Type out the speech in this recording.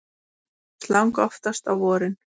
Það gerist langoftast á vorin.